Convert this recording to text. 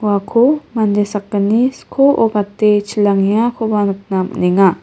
uako mande sakgni skoo gate chilangengakoba nikna man·enga.